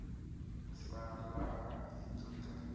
sa raha i ḓo ḓadza